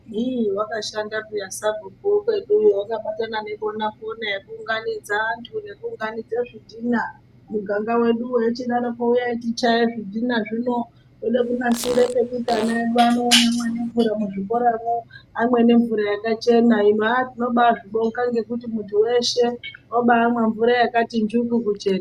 Hiii wakashanda peya sabhuku wekweduwo wakabatana nebona pona yekuunganidza antu nekuunganidza zvidhina munganga mwedumwo echidaroko uyai tichaye zvidhina zvino tode kunasira pekuti ana edu anomwira nemvura muzvikoramo amwe nemvura yakachena hino aaa tinobazvibonga ngekuti muntu weshe wabamwa mvura yakati njuku kuchena.